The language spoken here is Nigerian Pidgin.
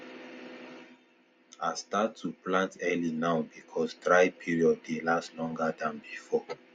i start to plant early now because dry period dey last longer than before